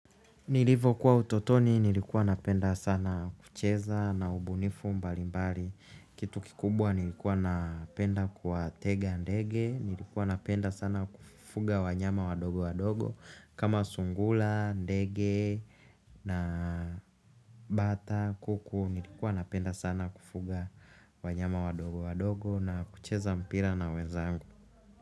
Nilivyokuwa utotoni, nilikuwa napenda sana kucheza na ubunifu mbalimbali. Kitu kikubwa nilikuwa napenda kuwa tega ndege, nilikuwa napenda sana kufuga wanyama wadogo wadogo kama sungura, ndege na bata, kuku, nilikuwa napenda sana kufuga wanyama wadogo wadogo na kucheza mpira na wenzangu.